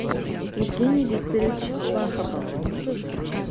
евгений викторович вахабов